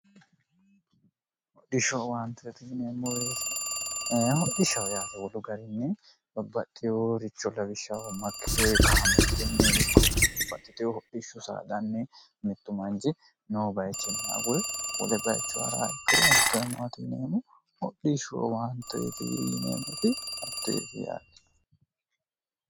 hodhishshoowaanteti yineemmoweetihodhishshoyaate wolu garinni bobaxxiwo richo lawishshaho makkideewi kaameelunni ikko loitewo hodhishsho sanni mittu manci no bayichinni agul wolebbayicho hara ikkiro at0emoti yineemmo hodhishshoo waanteti yineemmoti hatteefi yaati